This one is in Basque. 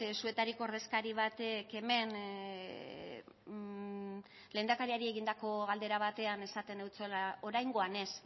zuetariko ordezkari batek hemen lehendakariari egindako galdera batean esaten eutsuela oraingoan ez